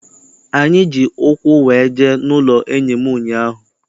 Anyị ji ụkwụ wee jee n'ụlọ enyi m ụnyaahụ.